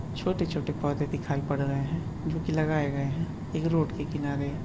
छोटे-छोटे पौधे दिखाई पड़ रहें हैं जोकि लगाए गए हैं एक रोड के किनारे --